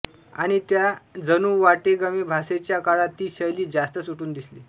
आणि त्या जणूवाटेगमेभासेच्या काळात ती शैली जास्तच उठून दिसली